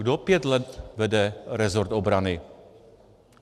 Kdo pět let vede resort obrany?